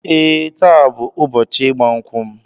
Ee, taa bụ ụbọchị ịgba nkwụ m